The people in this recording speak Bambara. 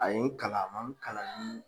A ye n kalan a ma n kalan ni